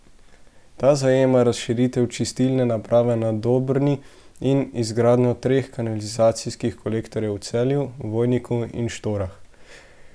Ta zajema razširitev čistilne naprave na Dobrni in izgradnjo treh kanalizacijskih kolektorjev v Celju, Vojniku in Štorah.